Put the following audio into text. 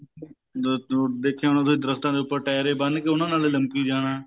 ਜੇ ਦੇਖਿਆ ਹੋਣਾ ਤੁਸੀਂ ਦਰਖਤਾ ਦੇ ਉਪਰ ਟੇਰ ਈ ਬੰਨ ਕੇ ਉਹਨਾ ਨਾਲ ਹੀ ਲਮਕੀ ਜਾਣਾ